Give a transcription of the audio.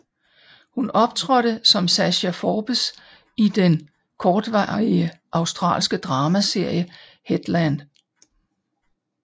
Hun optrådte som Sasha Forbes i den kortvarige australske drama serie headLand